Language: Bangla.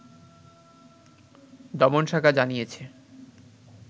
দমন শাখা জানিয়েছে